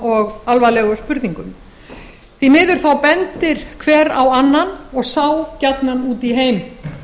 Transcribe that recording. og alvarlegu spurningum því miður bendir hver á annan og sá gjarnan út í heim